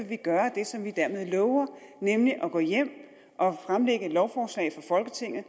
vi gøre det som vi dermed lover nemlig at gå hjem og fremsætte et lovforslag for folketinget